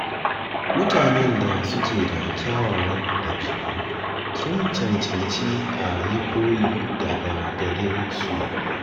Mutanen da suke da kyawawan ɗabi'u sun cancanci a yi koyi daga gare su